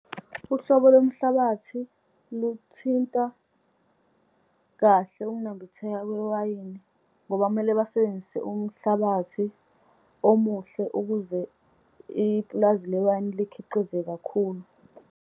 Uhlobo lomhlabathi luthinta kahle ukunambitheka kwewayini, ngoba kumele basebenzise umhlabathi omuhle, ukuze ipulazi lewayini likhiqize kakhulu.